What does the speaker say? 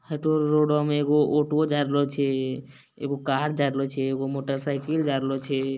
हेतो रोड बा में एगो ऑटो वो जाय रहलो छै एगो कार जाय रहलो छै एगो मोटर साइकिल जाय रहलो छै।